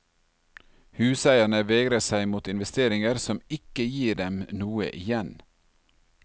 Huseierne vegrer seg mot investeringer som ikke gir dem noe igjen.